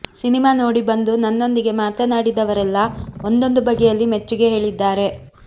cinema ನೋಡಿ ಬಂದು ನನ್ನೊಂದಿಗೆ ಮಾತನಾಡಿದವರೆಲ್ಲ ಒಂದೊಂದು ಬಗೆಯಲ್ಲಿ ಮೆಚ್ಚುಗೆ ಹೇಳಿದ್ದಾರೆ